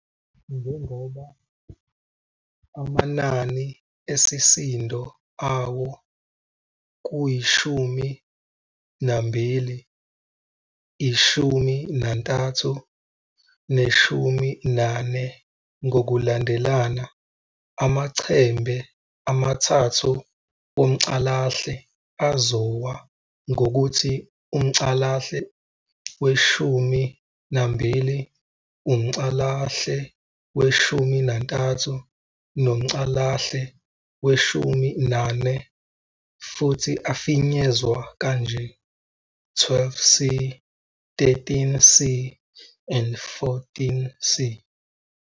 Njengoba amanani esisindo awo kuyi-12, i-13 ne-14 ngokulandelana, amaChembe amathathu womCalahle azowa ngokuthi umCalahle we-12, umCalahle we-13 nomCalahle we-14, futhi afinyezwa kanje 12C, 13C, and 14C.